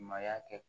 Maaya kɛ